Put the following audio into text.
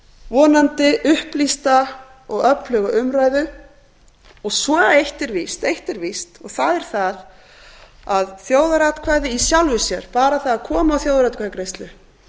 vonandi upplýsta og öfluga umræðu eitt er víst og það er það að þjóðaratkvæði í sjálfu sér bara það að koma á þjóðaratkvæðagreiðslu